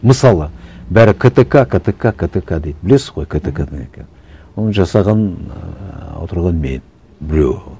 мысалы бәрі ктк ктк ктк дейді білесіз ғой ктк ны не екенін оны жасаған ыыы отырған мен біреуі